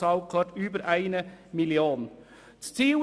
Bitte behaften Sie mich nicht darauf.